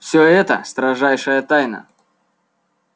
всё это строжайшая тайна